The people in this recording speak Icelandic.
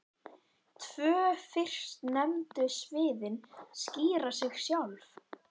Tvö fyrstnefndu sviðin skýra sig sjálf.